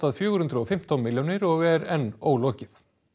fjögur hundruð og fimmtán milljónir og er enn ólokið